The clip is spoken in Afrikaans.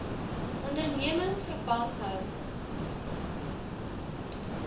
onderneming verband hou